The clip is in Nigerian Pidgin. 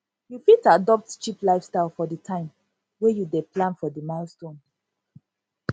you fit adopt cheap lifestyle for di time wey you dey plan for di milestone